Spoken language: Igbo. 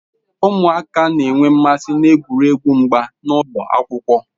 Ụmụaka na-enwe mmasị n'egwuregwu mgba n'ụlọ akwụkwọ.